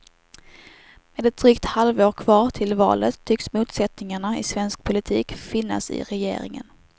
Med ett drygt halvår kvar till valet tycks motsättningarna i svensk politik finnas i regeringen.